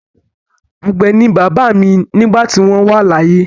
Àgbẹ̀ ni bàbá mi nígbà tí wọ́n wà láyé.